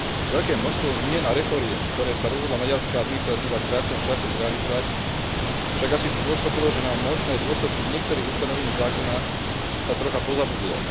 Veľké množstvo zmien a reforiem, ktoré sa rozhodla maďarská administratíva v krátkom čase zrealizovať, však asi spôsobilo, že na možné dôsledky niektorých ustanovení zákona sa trocha pozabudlo.